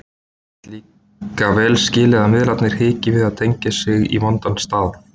Ég get líka vel skilið að miðlarnir hiki við að tengja sig í vonda staðinn.